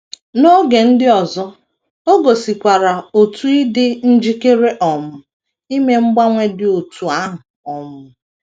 N’oge ndị ọzọ, o gosikwara otu ịdị njikere um ime mgbanwe dị otú ahụ um.